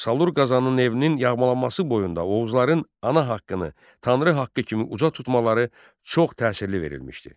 Salur Qazanın evinin yağmalanması boyunda Oğuzların ana haqqını, Tanrı haqqı kimi uca tutmaları çox təsirli verilmişdir.